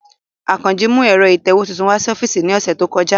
Akanji mu ẹ̀ro itẹwe tuntun wa si ọfiisi ni ọsẹ to kọja.